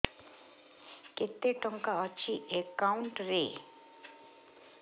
କେତେ ଟଙ୍କା ଅଛି ଏକାଉଣ୍ଟ୍ ରେ